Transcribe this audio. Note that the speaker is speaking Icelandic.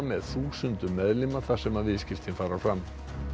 með þúsundum meðlima þar sem viðskiptin fara fram